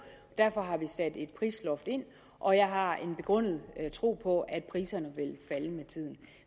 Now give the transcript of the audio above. derfor har vi sat et prisloft ind og jeg har en begrundet tro på at priserne vil falde med tiden